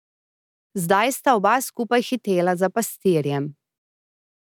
Zdaj sta oba skupaj hitela za pastirjem.